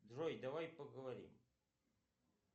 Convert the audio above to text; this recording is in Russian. джой давай поговорим